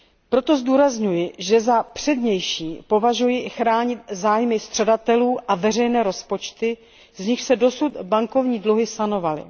Proto zdůrazňuji, že za přednější považuji i chránit zájmy střadatelů a veřejné rozpočty, z nichž se dosud bankovní dluhy sanovaly.